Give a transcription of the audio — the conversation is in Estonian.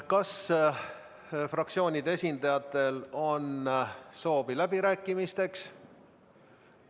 Kas fraktsioonide esindajatel on soovi läbirääkimisteks?